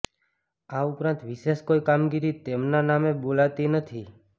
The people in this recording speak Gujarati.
આ ઉપરાંત વિશેષ કોઈ કામગીરી તેમના નામે બોલતી નથી